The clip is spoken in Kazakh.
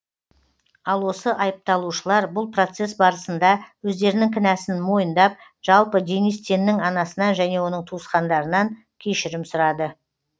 ал осы айыпталушылар бұл процесс барысында өздерінің кінәсын мойындап жалпы денис теннің анасынан және оның туысқандарынан кешірім сұрады